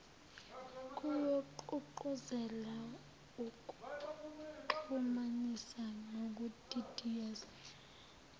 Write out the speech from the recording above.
kuyogqugquzela ukuxhumanisa nokudidiyelwa